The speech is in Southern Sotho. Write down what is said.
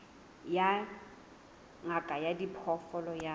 ya ngaka ya diphoofolo ya